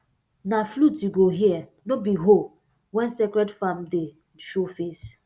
na flute you go hear no be hoe when sacred farm day show face